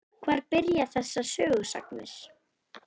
Hvar byrja þessar sögusagnir?